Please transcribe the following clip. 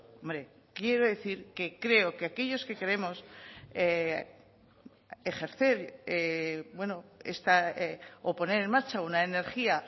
hombre quiero decir que creo que aquellos que queremos ejercer esta o poner en marcha una energía